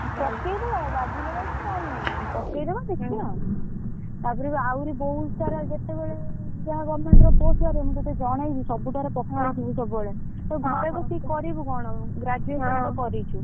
ପକେଇଦବା ବାଜିଲେ ବାଜୁ ନହେଲେ ନାହିଁ ପକେଇଦବା ଦେଖିବା ଆଉ, ତାପରେ ବି ଆହୁରି ବହୁତ ସାରା ଯେତେବେଳେ ଯାହା government ର post ବାହାରିବ ମୁ ତତେ ଜଣେଇବି ସବୁଠାରେ ପକଉଥିବୁ ସବୁବେଳେ, ତୁ ଘରେ ବସିକି କରିବୁ କଣ graduation ତ କରିଛୁ।